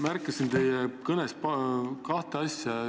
Märkasin teie kõnes kahte asja.